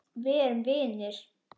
Við erum vinir.